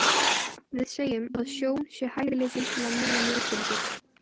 Við segjum að sjón sé hæfileikinn til að nema ljósbylgjur.